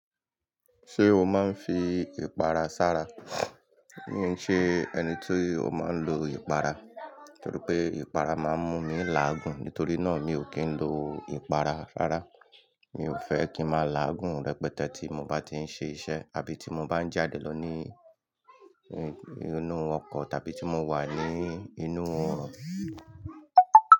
Ṣé o máa ń fi ìpara sára? Mi i ṣe ẹni tí ó máa ń lo ìpara, torí pé ìpara máa ń mú mi láàgùn. Nítorí náà, mi ò kí ń lo ìpara rárá. Mi ò fẹ́ kí ń máa láàgùn rẹpẹtẹ tí mo bá ti ń ṣe iṣẹ́ àbí tí mo bá ń jáde lọ ní inú ọkọ̀ tàbí tí mo wà ní inú.